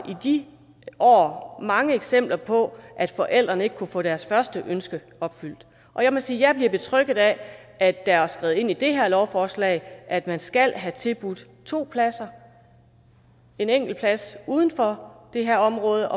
de år mange eksempler på at forældrene ikke kunnet få deres første ønske opfyldt og jeg må sige at jeg bliver betrygget af at der er skrevet ind i det her lovforslag at man skal have tilbudt to pladser en plads uden for det her område